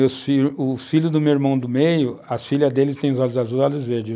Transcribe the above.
Meus fi, o filho do meu irmão do meio, as filhas deles têm os olhos azuis e os olhos verdes.